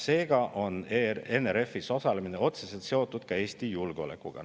Seega on NRF-is osalemine otseselt seotud ka Eesti julgeolekuga.